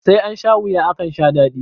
Sai ansha wuya, akan sha daɗi.